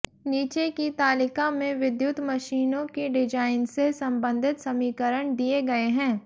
नीचे की तालिका में विद्युत मशीनों की डिजाइन से सम्बन्धित समीकरण दिए गए हैं